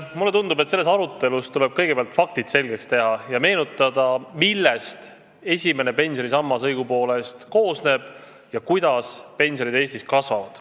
Mulle tundub, et selles arutelus tuleb kõigepealt faktid selgeks teha ja meenutada, millest esimene pensionisammas õigupoolest koosneb ja kuidas pensionid Eestis kasvavad.